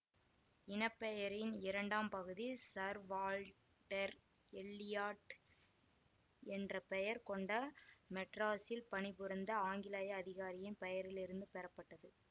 இனப்பெயரின் இரண்டாம் பகுதி Sir Walter Elliot என்ற பெயர் கொண்ட மெட்ராஸில் பணிபுரிந்த ஆங்கிலேய அதிகாரியின் பெயரிலிருந்து பெறப்பட்டது